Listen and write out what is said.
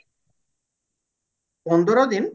ପନ୍ଦର ଦିନ